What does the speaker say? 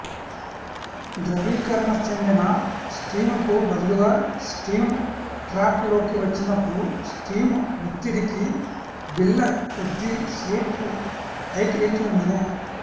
ద్రవీకరణ చెందిన స్టీముకుబదులుగా steam trap లోకి వచ్చినపుడు స్టీము వత్తిడికి బిళ్ళ కొద్ది సేపు పైకి లేచి వుండును